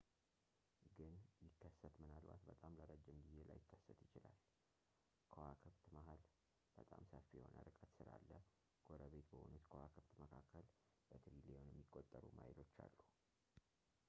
ግን ፣ ቢከሰት ምናልባት በጣም ለረጅም ጊዜ ላይከሰት ይችላል። ከዋክብት መሃል በጣም ሰፊ የሆነ ርቀት ስላለ ጎረቤት በሆኑት ከዋክብት መካከል በትሪሊዮን የሚቆጠሩ ማይሎች አሉ ”፡፡